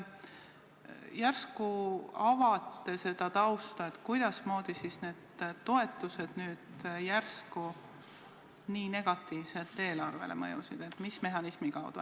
Järsku avate seda tausta, kuidas need toetused nüüd järsku nii negatiivselt eelarvele mõjusid, mis mehhanismi kaudu.